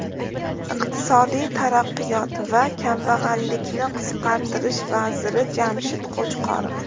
Iqtisodiy taraqqiyot va kambag‘allikni qisqartirish vaziri Jamshid Qo‘chqorov.